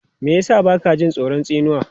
Me ya sa ba ka jin tsoron tsinuwa?